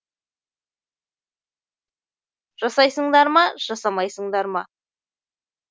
жасайсыңдар ма жасамайсыңдар ма